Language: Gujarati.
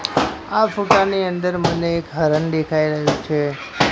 આ ફોટા ની અંદર મને એક હરણ દેખાઈ રહ્યું છે.